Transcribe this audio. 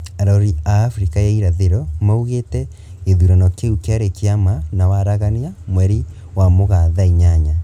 Arori a Afrika ya irathiro maugite githurano kiu kiari kia ma na waragania, mweri wa mugaa thaa inyanya.